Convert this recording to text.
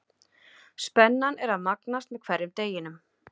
Spennan er að magnast með hverjum deginum.